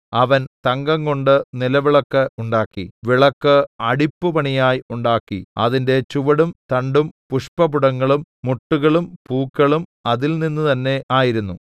അവൻ തങ്കംകൊണ്ട് നിലവിളക്ക് ഉണ്ടാക്കി വിളക്ക് അടിപ്പുപണിയായി ഉണ്ടാക്കി അതിന്റെ ചുവടും തണ്ടും പുഷ്പപുടങ്ങളും മുട്ടുകളും പൂക്കളും അതിൽനിന്ന് തന്നെ ആയിരുന്നു